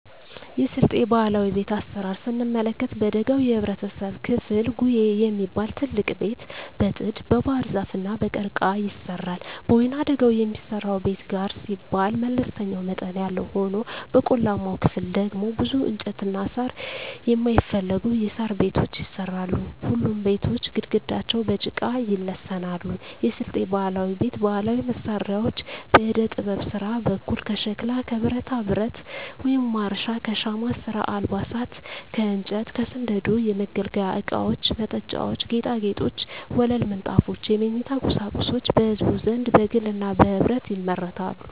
የስልጤ ባህላዊ ቤት አሰራር ስንመለከት በደጋው የህብረተሰብ ክፍል ጉዬ የሚባል ትልቅ ቤት በጥድ, በባህርዛፍ እና በቀርቀሀ ይሰራል። በወይናደጋው የሚሰራው ቤት ጋር ሲባል መለስተኛ መጠን ያለው ሆኖ በቆላማው ክፍል ደግሞ ብዙ እንጨትና ሳር የማይፈልጉ የሣር ቤቶች ይሰራሉ። ሁሉም ቤቶች ግድግዳቸው በጭቃ ይለሰናሉ። የስልጤ ባህላዊ ቤት ባህላዊ መሳሪያዎች በዕደጥበብ ስራ በኩል ከሸክላ ከብረታብረት (ማረሻ) ከሻማ ስራ አልባሳት ከእንጨት ከስንደዶ የመገልገያ እቃወች መጠጫዎች ና ጌጣጌጦች ወለል ምንጣፎች የመኝታ ቁሳቁሶች በህዝቡ ዘንድ በግልና በህብረት ይመረታሉ።